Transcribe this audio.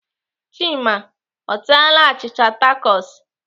Chima ọ taaala achịcha takos?